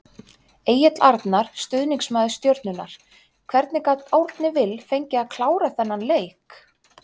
Egill Arnar, stuðningsmaður Stjörnunnar Hvernig gat Árni Vill fengið að klára þennan leik?